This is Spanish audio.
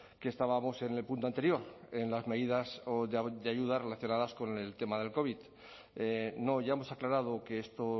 que estábamos en el punto anterior en las medidas de ayuda relacionadas con el tema del covid no ya hemos aclarado que esto